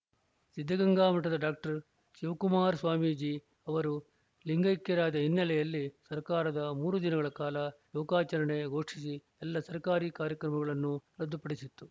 ಸಿದ್ಧಗಂಗಾ ಮಠದ ಡಾಕ್ಟರ್ ಶಿವಕುಮಾರ ಸ್ವಾಮೀಜಿ ಅವರು ಲಿಂಗೈಕ್ಯರಾದ ಹಿನ್ನೆಲೆಯಲ್ಲಿ ಸರ್ಕಾರ ಮೂರು ದಿನಗಳ ಕಾಲ ಶೋಕಾಚರಣೆ ಘೋಷಿಸಿ ಎಲ್ಲ ಸರ್ಕಾರಿ ಕಾರ್ಯಕ್ರಮಗಳನ್ನು ರದ್ದುಪಡಿಸಿತ್ತು